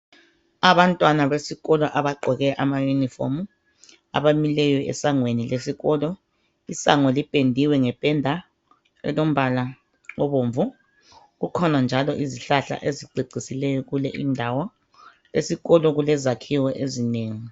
Abantwana besikolo abagqoke amayunifomu abamileyo esangweni lesikolo. Isango lipendiwe ngependa elombala obomvu. Kukhona njalo izihlahla ezicecisileyo kule indawo. Esikolo kulezakhiwo ezinengi.